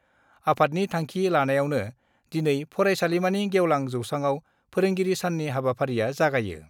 आफादनि थांखि लानायावनो दिनै फरायसालिमानि गेवलां जौसाङाव फोरोंगिरि साननि हाबाफारिआ जागायो।